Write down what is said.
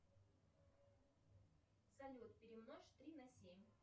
салют перемножь три на семь